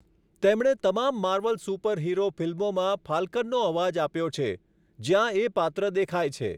તેમણે તમામ Marvel superhero ફિલ્મોમાં ફાલ્કનનો અવાજ આપ્યો છે, જ્યાં એ પાત્ર દેખાય છે.